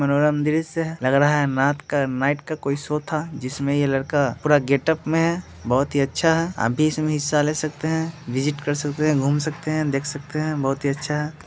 मनोरम दृश्य है लग रहा है नात का नाइट का कोई शो था जिसमें ये लड़का पूरा गेटप में है बहुत ही अच्छा है आप भी इसमें हिस्सा ले सकते हैं विज़िट कर सकते हैं घूम सकते हैं देख सकते हैं बहुत ही अच्छा है।